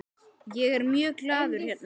Ég er mjög glaður hérna.